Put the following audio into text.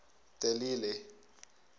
de lille